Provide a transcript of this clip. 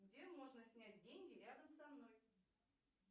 где можно снять деньги рядом со мной